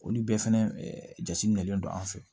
Olu bɛɛ fɛnɛ jate minɛlen don an fɛ